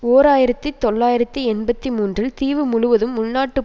ஓர் ஆயிரத்தி தொள்ளாயிரத்தி எண்பத்தி மூன்றில் தீவு முழுவதும் உள்நாட்டுப்